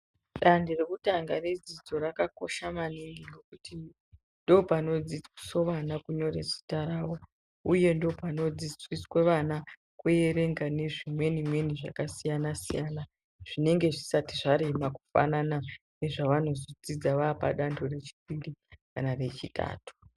Dando rekutanga redzidzo raka kosha maningi ngekuti ndopano dzidziswe vana kunyore zita ravo uye ndopano dzidziswe vana ku erenga ne zvimweni mweni zvaka siyana siyana zvinenge zvisati zvarema kufanana ne zvavanozo dzidza vapa dando re chipiri kana re chitatu.